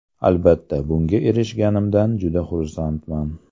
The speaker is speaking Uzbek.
Albatta, bunga erishganimdan juda xursandman.